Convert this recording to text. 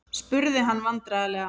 spurði hann vandræðalega.